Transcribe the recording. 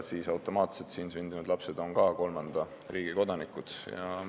Sel juhul on Eestis sündinud lapsed automaatselt ka kolmanda riigi kodanikud.